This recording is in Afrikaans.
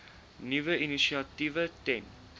nuwe initiatiewe ten